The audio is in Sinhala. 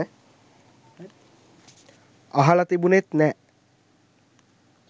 අහල තිබුනෙත් නෑ.